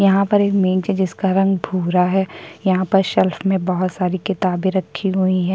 यहाँ पर एक मेज है जिसका रंग भूरा है यहाँ पर शेल्फ में बहुत सारी किताबें रखी हुई है।